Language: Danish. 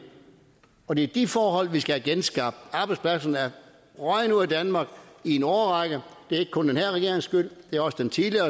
og det er de forhold vi skal have genskabt arbejdspladserne er røget ud af danmark i en årrække det er ikke kun den her regerings skyld det er også den tidligere